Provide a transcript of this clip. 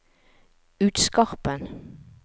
Utskarpen